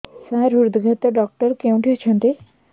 ସାର ହୃଦଘାତ ଡକ୍ଟର କେଉଁଠି ଅଛନ୍ତି